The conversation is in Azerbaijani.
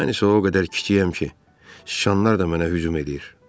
Mən isə o qədər kişiyəm ki, sıçanlar da mənə hücum eləyir.